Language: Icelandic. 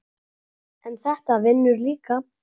en þetta vinnur líka.